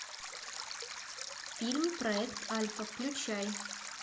фильм проект альфа включай